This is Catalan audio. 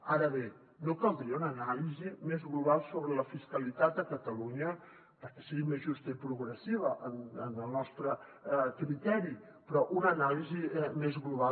ara bé no caldria una anàlisi més global sobre la fiscalitat a catalunya perquè seria més justa i progressiva en el nostre criteri una anàlisi més global